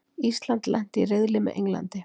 Ísland lenti í riðli með Englandi